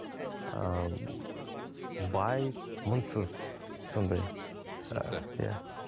ыыы бай мұңсыз сондай түсінікті иә